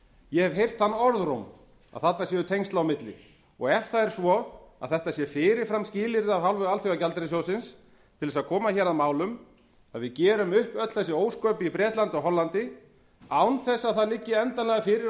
ég hef heyrt þann orðróm að þarna séu tengsl á milli ef það er svo að þetta sé fyrirframframskilyrði af hálfu alþjóðagjaldeyrissjóðsins til þess að koma hér að málum að við gerum upp öll þessi ósköp í bretlandi og hollandi án þess að það liggi endanlega fyrir að